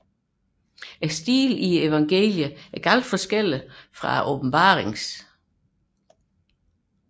Stilen i evangeliet adskiller sig stærkt fra åbenbaringens